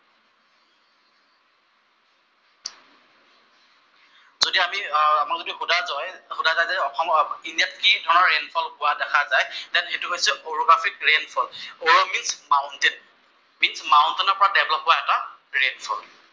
যদি আমি, আমাক যদি সোধা যায় যে ইণ্ডিয়াত কি ধৰণৰ ৰেইনফল হোৱা দেখা যায়, দেন সেইটো হৈছে orographic rainfall. Orographic mountain, mountain ৰ পৰা প্ৰবাহ হোৱা এটা ৰেইনফল।